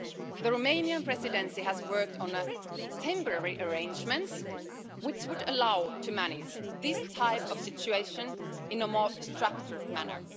The Romanian Presidency has worked on temporary arrangements which would make it possible to manage this type of situation in a more structured manner.